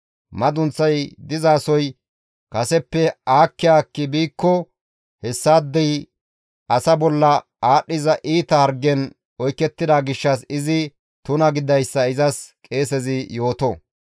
Madunththay dizasoy kaseppe aakki aakki biikko hessaadey asa bolla aadhdhiza iita hargen oykettida gishshas izi tuna gididayssa izas qeesezi yooto.